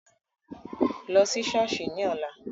Lọ́ sí ṣọ́ọ̀ṣì ní ọ̀la.